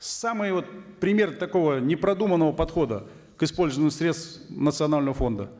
самый вот пример такого непродуманного подхода к использованию средств национального фонда